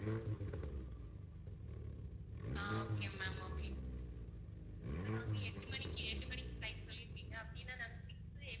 அஹ் okay ma'am okay இப்போ நாங்க எட்டு மணிக்கு எட்டு மணிக்கு flight சொல்லி இருக்கீங்க அப்படின்னா நாங்க six